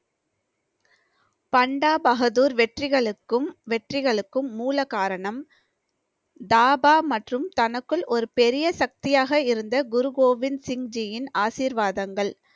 பண்டா பகதூர் வெற்றிகளுக்கும் வெற்றிகளுக்கும் மூலகாரணம் தாபா மற்றும் தனக்குள் ஒரு பெரிய சக்தியாக இருந்த குரு கோவிந்த் சிங்ஜியின் ஆசீர்வாதங்கள்